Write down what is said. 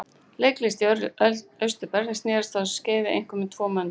Leiklist í Austur-Berlín snerist á þessu skeiði einkum um tvo möndla